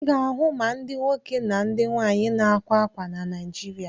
Ị ga-ahụ ma ndị nwoke na ndị nwaanyị na-ákwā ákwà na Naịjirịa.